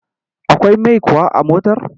Akwai mai kuwa a motar?